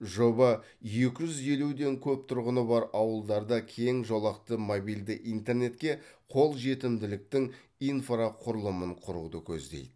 жоба екі жүз елуден көп тұрғыны бар ауылдарда кең жолақты мобильді интернетке қол жетімділіктің инфрақұрылымын құруды көздейді